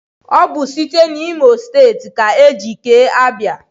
Ọ bụ site n'Imo steeti ka e ji kee Abia.